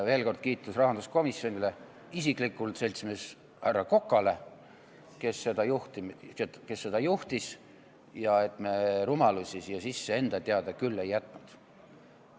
Veel kord kiitus rahanduskomisjonile ja isiklikult seltsimees härra Kokale, kes seda juhtis, et me rumalusi siia sisse enda teada küll ei jätnud.